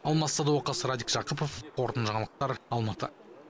алмас садуақас радик жақыпов қорытынды жаңалықтар алматы